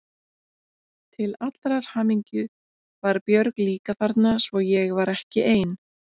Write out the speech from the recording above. Til allrar hamingju var Björg líka þarna svo ég var ekki ein.